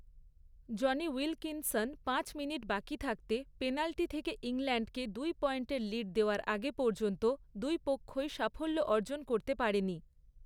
Johnny Wilkinson পাঁচ minute বাকি থাকতে পেনাল্টি থেকে ইংল্যান্ডকে দুই পয়েন্টের লিড দেওয়ার আগে পর্যন্ত দুই পক্ষই সাফল্য অর্জন করতে পারেনি।